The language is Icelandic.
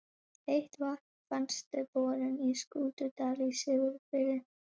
Heitt vatn fannst við borun á Skútudal í Siglufirði.